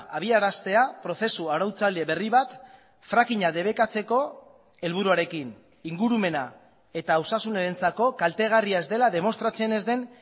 abiaraztea prozesu arautzaile berri bat frakinga debekatzeko helburuarekin ingurumena eta osasunarentzako kaltegarria ez dela demostratzen ez den